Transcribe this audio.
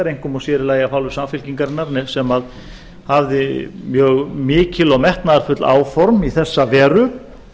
einkum og sér í lagi af hálfu samfylkingarinnar sem hafði mjög mikil og metnaðarfull áform í þessa veru